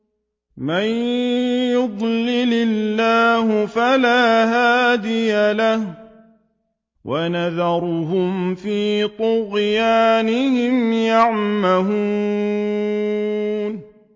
مَن يُضْلِلِ اللَّهُ فَلَا هَادِيَ لَهُ ۚ وَيَذَرُهُمْ فِي طُغْيَانِهِمْ يَعْمَهُونَ